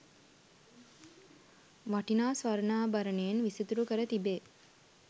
වටිනා ස්වර්ණාභරණයෙන් විසිතුරු කර තිබේ.